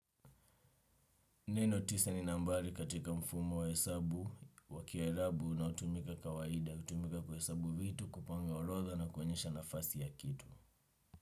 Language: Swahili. Neno tisa ni nambari katika mfumo wa hesabu, wakia ilabu unaotumika kawaida, utumika kwa hesabu vitu kupanga orodha na kuonyesha nafasi ya kitu.